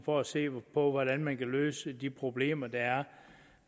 for at se på hvordan man kan løse de problemer der er